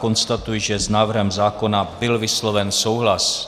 Konstatuji, že s návrhem zákona byl vysloven souhlas.